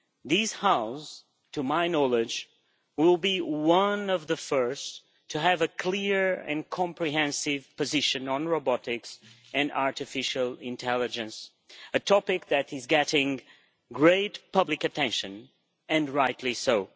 This House, to my knowledge, will be one of the first to have a clear and comprehensive position on robotics and artificial intelligence, a topic that is getting great public attention, and rightly so.